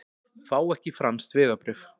Fá ekki franskt vegabréf